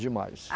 Demais.